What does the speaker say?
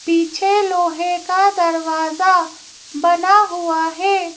पीछे लोहे का दरवाजा बना हुआ है।